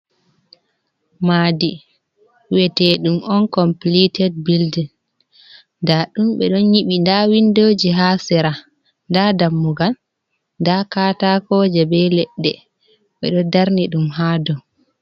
Maadi we'eteɗum on compilited bildin, nda ɗum ɓe ɗo ƴiɓi. Nda windoji haa sera, nda dammugal, nda katakoje be leɗɗe ɓe ɗo darni ɗum haa do.